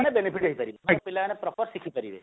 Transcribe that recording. ତାହେଲେ benefit ହେଇପାରିବ ମେନ ପିଲାମାନେ proper ଶିଖିପାରିବେ